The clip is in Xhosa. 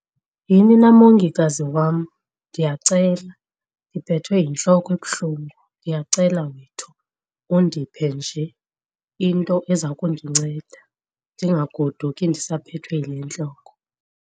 Yhini na mongikazi wam, ndiyacela ndiphethwe yintloko ebuhlungu, ndiyacela wethu undiphe nje into eza kundinceda ndingagoduki ndisaphethwe yile ntloko.